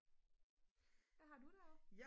hvad har du derovre